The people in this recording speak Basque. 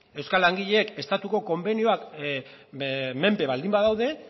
euskal langileek estatuko konbenioen menpe baldin badaude